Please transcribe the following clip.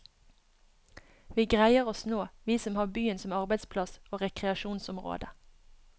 Vi greier oss nå, vi som har byen som arbeidsplass og rekreasjonsområde.